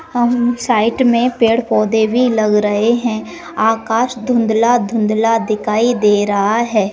हम्म side में पेड़-पौधे भी लग रहे है आकाश धुंधला -धुंधला दिखाई दे रहा है।